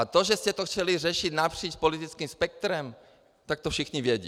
A to, že jste to chtěli řešit napříč politickým spektrem, tak to všichni vědí.